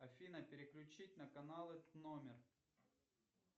афина переключить на каналы номер